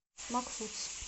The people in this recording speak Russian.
макфудс